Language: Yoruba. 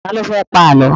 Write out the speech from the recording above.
Ta ló fẹ́ pa Àlọ́?